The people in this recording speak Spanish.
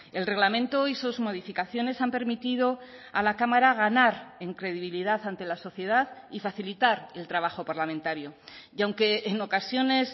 el reglamento y sus modificaciones han permitido a la cámara ganar en credibilidad ante la sociedad y facilitar el trabajo parlamentario y aunque en ocasiones